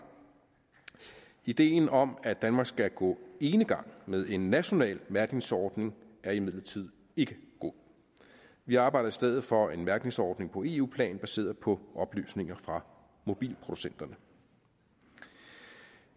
ideen om at danmark skal gå enegang med en national mærkningsordning er imidlertid ikke god vi arbejder i stedet for en mærkningsordning på eu plan baseret på oplysninger fra mobilproducenterne